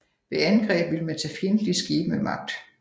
Ved angreb ville man tage fjendtlige skibe med magt